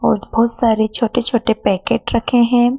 और बहुत सारे छोटे छोटे पैकेट रखे हैं।